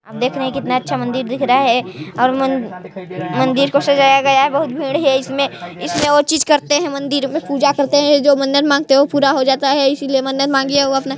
आप देख रहे है कितना अच्छा मन्दिर दिख रहा है और मन मन्दिर को सजाया गया है बहुत भीड़ है इसमे-इसमें और चीज़ करते है मन्दिर में पूजा करते है जो मन्नत मांगते है वो पूरा हो जाता है इसलिए मन्नत मांगी है वो अपना--